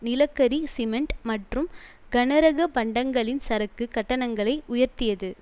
நிலக்கரி சிமெண்ட் மற்றும் கனரக பண்டங்களின் சரக்கு கட்டணங்களை உயர்த்தியது